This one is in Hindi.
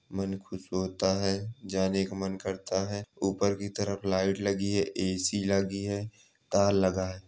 मन खुश होता है जाने का मन करता है ऊपर की तरफ लाइट लगी है ए.सी लगी है तार लगा है।